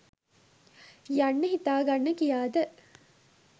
යන්න හිතාගන්න කියාද?